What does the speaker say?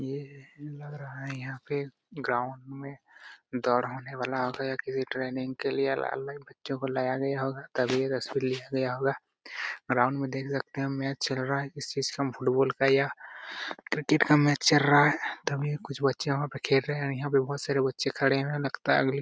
यह लग रहा है यहां पे ग्राउंड में दौड़ होने वाल आ गए किसी ट्रेनिंग के लिए अलग बच्चो को लाया होगा ग्राउंड में देख सकते हैं मैच चल रहा है किस चीज का फुटबॉल या क्रिकेट का मैच चल रहा हैं तभी कुछ बच्चे वहा पे खेल रहे हैं और यहां पर बहुत सारे बच्चे खड़े हैं। लगता है अगली --